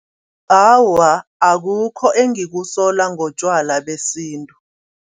Awa akukho engikusola ngotjwala besintu.